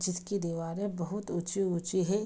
जिसकी दीवारें बहुत ऊंची ऊंची है।